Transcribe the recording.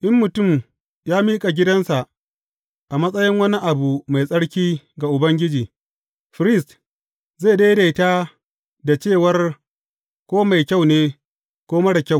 In mutum ya miƙa gidansa a matsayin wani abu mai tsarki ga Ubangiji, firist zai daidaita dacewar ko mai kyau ne, ko marar kyau.